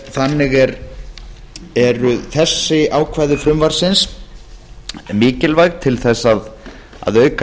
þannig eru þessi ákvæði frumvarpsins mikilvæg til þess að auka